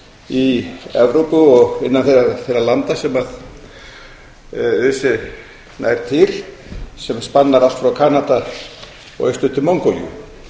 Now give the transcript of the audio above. í evrópu og innan þeirra landa sem öse nær til sem spannar allt frá kanada og austur til mongólíu